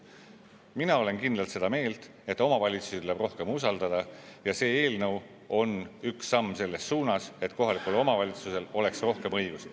Mina olen kindlalt seda meelt, et omavalitsusi tuleb rohkem usaldada, ja see eelnõu on üks samm selles suunas, et kohalikul omavalitsusel oleks rohkem õigusi.